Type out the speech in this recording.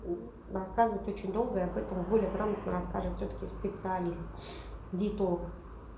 на рассказывать очень долго об этом более грамотно расскажет все таки специалист диетолог